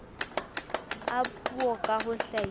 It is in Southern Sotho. a puo ka ho hlahisa